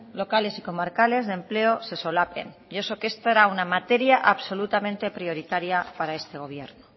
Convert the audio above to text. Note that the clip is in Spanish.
locales y comarcales de empleo se solapen y eso que esto era una materia absolutamente prioritaria para este gobierno